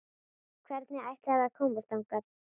Hvernig ætlarðu að komast þangað?